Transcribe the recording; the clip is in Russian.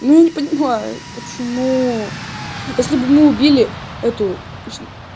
ну не понимаю почему если бы мы убили эту